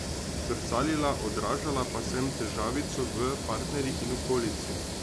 Zrcalila, odražala pa sem težavico v partnerjih in okolici.